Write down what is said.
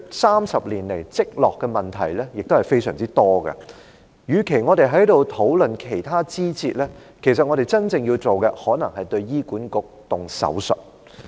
三十年來累積的問題是非常多的，與其我們在此討論其他枝節，其實我們真正要做的，可能是對醫管局施手術。